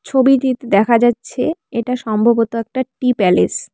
ছবিটির দেখা যাচ্ছে এটা সম্ভবত একটা টি প্যালেস ।